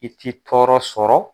I t'i tɔɔrɔ sɔrɔ.